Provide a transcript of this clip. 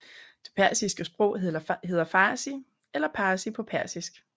Det persiske sprog hedder Fārsi eller Pārsi på persisk